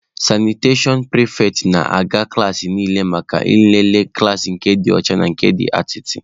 Sanitashọn pịrịfetị nọ na-aga klaasị niile maka nlele klaasị dị ọcha na nke dị atịtị.